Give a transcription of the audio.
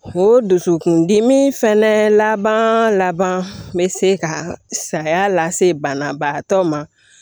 O dusukun dimi fɛnɛ laban laban bɛ se ka saya lase banabagatɔ ma